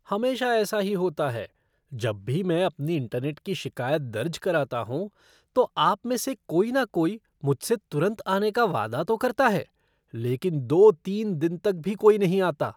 हमेशा ऐसा ही होता है, जब भी मैं अपनी इंटरनेट की शिकायत दर्ज कराता हूँ, तो आप में से कोई ना कोई मुझसे तुरंत आने का वादा तो करता है, लेकिन दो तीन दिन तक भी कोई नहीं आता।